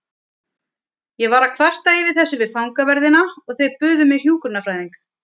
Ég var að kvarta yfir þessu við fangaverðina og þeir buðu mér hjúkrunarfræðing.